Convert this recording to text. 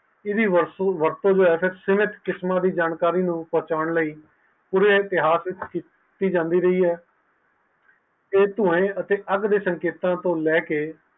ਇਸ ਦੀ ਵਰਤੋਂ ਕਿਵੇਂ ਕਿਸਮ ਦੀ ਜਾਣਕਾਰੀ ਬਚਾਉਣ ਲਈ ਪੂਰੇ ਇਤਿਹਾਸ ਵਿਚ ਕੀਤੀ ਜਾਂਦੀ ਹੈ